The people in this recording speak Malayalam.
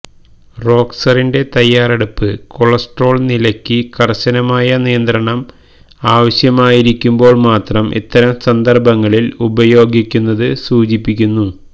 റോക്സറിന്റെ തയ്യാറെടുപ്പ് കൊളസ്ട്രോൾ നിലയ്ക്ക് കർശനമായ നിയന്ത്രണം ആവശ്യമായിരിക്കുമ്പോൾ മാത്രം ഇത്തരം സന്ദർഭങ്ങളിൽ ഉപയോഗിക്കുന്നത് സൂചിപ്പിക്കുന്നു